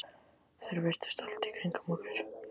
Þær virtust allt í kringum okkur.